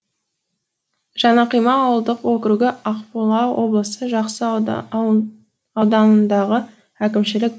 жаңақима ауылдық округі ақмола облысы жақсы ауданындағы әкімшілік